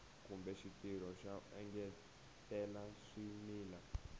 kumbe xitirho xo engetela swimila